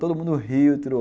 Todo mundo riu, tirou